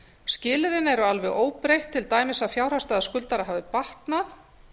skilyrðin eru alveg óbreytt til dæmis að fjárhagsstaða skuldara hafi batnað